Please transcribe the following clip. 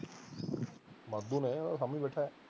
ਵਾਧੂ ਨੇ ਉਹ ਸਾਂਭੀ ਬੈਠਾ